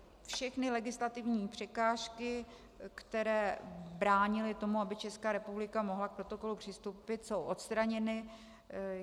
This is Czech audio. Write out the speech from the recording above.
Všechny legislativní překážky, které bránily tomu, aby Česká republika mohla k protokolu přistoupit, jsou odstraněny.